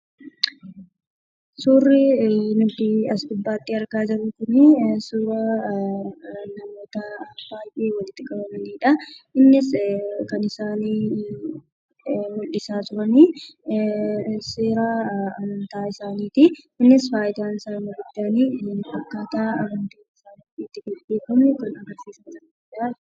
Suuraa nuti as gubbaatti argaa jirru kun suuraa namoota baay'ee walitti qabamanidha. Innis kan isaan mul'isa jiran seera amantaa isaanidha. Innis faayidaa isaa inni guddaan akkata amantaan isaani itti beekamu kan agarsiisuudha.